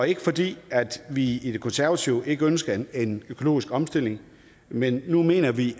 ikke fordi vi i det konservative folkeparti ikke ønsker en økologisk omstilling men nu mener vi